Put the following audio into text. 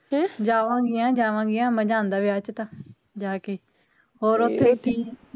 ਜਾਵਾਂਗੀਆ ਜਾਵਾਂਗੀਆ ਮਜਾ ਆਂਦਾ ਵਿਆਹ ਚ ਤਾ, ਜਾਕੇ ਹੋਰ ਓਥੇ